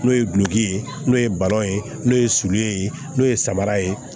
N'o ye gulɔki ye n'o ye ye n'o ye sulu ye n'o ye samara ye